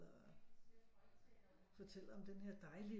Fortæller om denne her dejlige